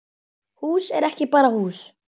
Hús er ekki bara hús